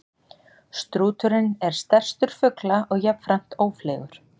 Strúturinn er stærstur fugla og jafnframt ófleygur.